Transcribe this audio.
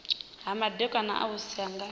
ha madaka a muvhuso nga